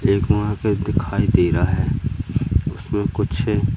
एक दिखाई दे रहा है उसमें कुछ--